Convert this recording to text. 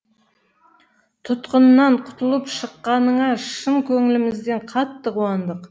тұтқыннан құтылып шыққаныңа шын көңілімізден қатты қуандық